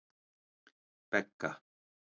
Begga